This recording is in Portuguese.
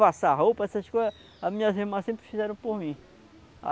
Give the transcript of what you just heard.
Passar roupa, essas coisas, as minhas irmãs sempre fizeram por mim.